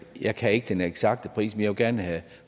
jeg kan ikke den eksakte pris men jeg vil gerne have